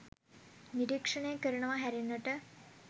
නිරීක්ෂණය කරනවා හැරෙන්නට